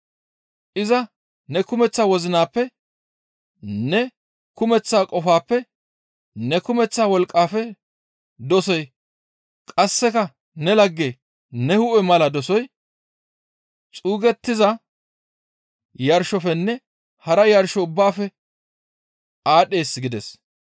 Iza ne kumeththa wozinappe ne kumeththa qofappe ne kumeththa wolqqafe dosoy qasseka ne lagge ne hu7e mala dosoy xuugettiza yarshofenne hara yarsho ubbaafe aadhdhees» gides.